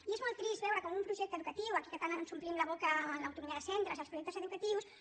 i és molt trist veure com un projecte educatiu aquí que tant ens omplim la boca amb l’autonomia dels centres i els projectes educatius